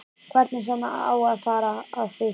Hvernig sem á að fara að því.